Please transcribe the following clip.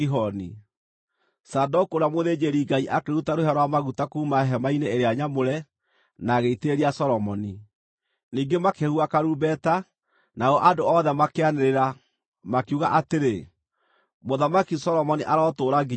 Zadoku ũrĩa mũthĩnjĩri-Ngai akĩruta rũhĩa rwa maguta kuuma hema-inĩ ĩrĩa nyamũre na agĩitĩrĩria Solomoni. Ningĩ makĩhuha karumbeta, nao andũ othe makĩanĩrĩra, makiuga atĩrĩ, “Mũthamaki Solomoni arotũũra nginya tene!”